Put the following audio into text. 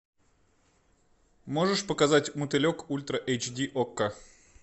можешь показать мотылек ультра эйч ди окко